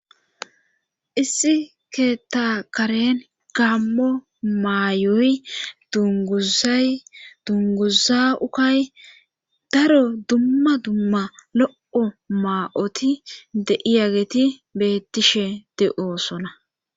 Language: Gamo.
issi keeta karen gammo maayoy dunguzay dunguza ukay daro dumma dumma lo7o maa7oti deiyageti bettishe de7oosona